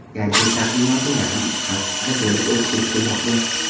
Gadjet taqdimoti yaqin ikki hafta ichida bo‘lib o‘tishi kutilmoqda.